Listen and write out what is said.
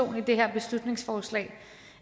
det her beslutningsforslag